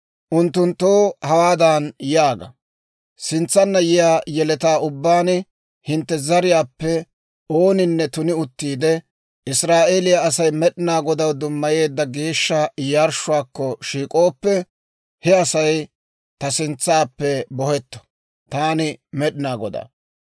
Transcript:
«Unttunttoo hawaadan yaaga; ‹Sintsanna yiyaa yeletaa ubbaan hintte zariyaappe ooninne tuni uttiide, Israa'eeliyaa Asay Med'inaa Godaw dummayeedda geeshsha yarshshuwaakko shiik'ooppe, he Asay ta sintsaappe bohetto. Taani Med'inaa Godaa.